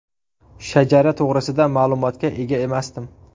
Shajara to‘g‘risida ma’lumotga ega emasdim.